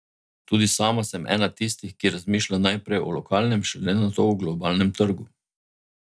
Tudi sama sem ena tistih, ki razmišlja najprej o lokalnem, šele nato o globalnem trgu.